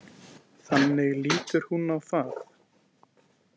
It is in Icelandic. Þannig lítur hún á það.